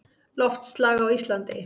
Loftslag á Íslandi